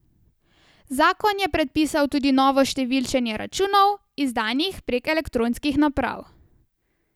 Zakon je predpisal tudi novo številčenje računov, izdanih prek elektronskih naprav.